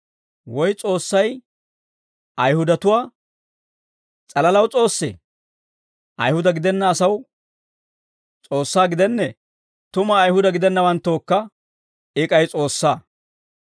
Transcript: Woy S'oossay Ayihudatuwaa s'alalaw S'oossee? Ayihuda gidenna asaw S'oossaa gidennee? Tuma, Ayihuda gidennawanttookka I k'ay S'oossaa.